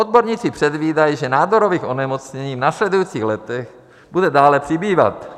Odborníci předvídají, že nádorových onemocnění v následujících letech bude dále přibývat.